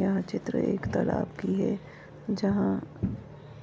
यह चित्र एक तालाब की है जहाँ